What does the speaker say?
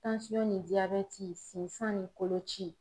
ni diyabɛti sinsan ni koloci.